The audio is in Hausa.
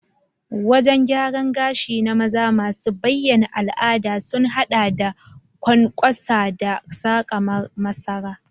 Wajen gyaran gashi na maza masu bayyana al'ada sun haɗa da ƙwanƙwasa da saka masara.